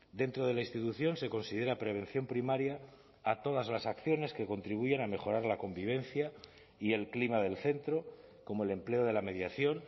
dentro de la institución se considera prevención primaria a todas las acciones que contribuyen a mejorar la convivencia y el clima del centro como el empleo de la mediación